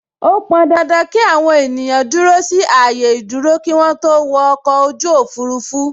Ó pọn dandan ki àwọn ènìyàn dúró sí ààyè ìdúró kí wọn tó wọ ọkọ̀ ojú òfurufú